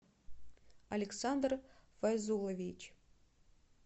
александр файзулович